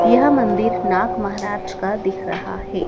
यह मंदिर नाग महाराज का दिख रहा है।